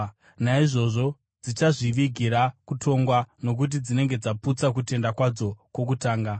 Naizvozvo dzichazvivigira kutongwa, nokuti dzinenge dzaputsa kutenda kwadzo kwokutanga.